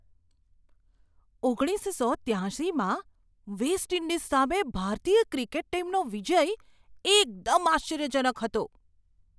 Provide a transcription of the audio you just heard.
ઓગણીસસો ત્યાશીમાં West Indies સામે ભારતીય ક્રિકેટ ટીમનો વિજય એકદમ આશ્ચર્યજનક હતો!